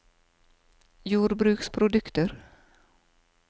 jordbruksprodukter